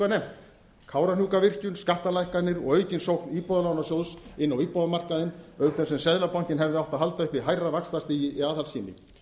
nefnt kárahnjúkavirkjun skattalækkanir og aukin sókn íbúðalánasjóðs inn á íbúðamarkaðinn auk þess sem seðlabankinn hefði átt að halda uppi hærra vaxtastigi í aðhaldsskyni